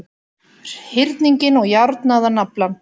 hyrninginn og járnaðan naflann.